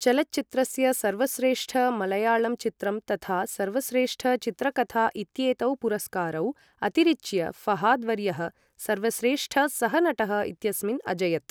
चलच्चित्रस्य सर्वश्रेष्ठ मलयाळं चित्रं तथा सर्वश्रेष्ठ चित्रकथा इत्येतौ पुरस्कारौ अतिरिच्य ऴहाद् वर्यः सर्वश्रेष्ठ सहनटः इत्यस्मिन् अजयत्।